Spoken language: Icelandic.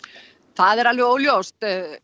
er alveg óljóst